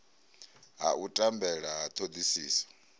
ha u tambela ha thodisiso